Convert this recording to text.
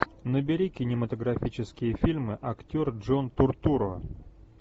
набери кинематографические фильмы актер джон туртурро